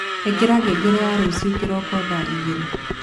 ĩkĩra ngengere ya rũcio kĩroko thaa igĩrĩ